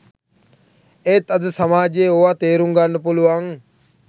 එත් අද සමාජයේ ඕව තෙරුන්ගන්න පුළුවන්